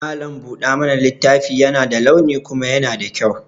Mallam buɗa mana littafi yana da launi kuma yana da kyau.